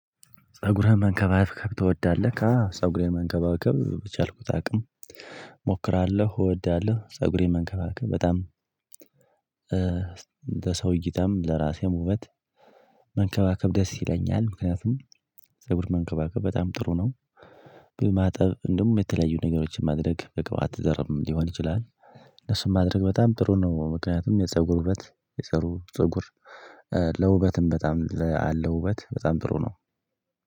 ፀጉርህን መንከባከብ ትወዳለህ? አዎ ፀጉሬን መንከባከብ በቻልኩት አቅም እሞክራለሁ እወዳለሁ ፀጉሬን መንከባከብ በጣም ለሰው እይታም ለራሴም ውበት መንከባከብ ደስ ይለኛል ምክንያቱም ፀጉር መንከባከብ በጣም ጥሩ ነው። በማጠብ እንደውም የተለያዩ ነገሮችን ማድረግ በቅባት ዘርም ሊሆን ይችላል። እነሱን ማድረግ በጣም ጥሩ ነው ምክንያቱም የፀጉር ውበት የፀሩ ፀጉር ለውበትም በጣም አለ ውበት በጣም ጥሩ ነው።